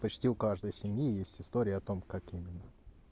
почти у каждой семьи есть история о том как именно